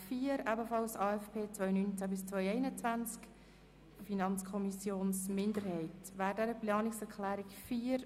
Die eine stammt von der FiKo und die andere von den Grossrätinnen und Grossräten Knutti, Berger, Speiser, Schwarz und Graf.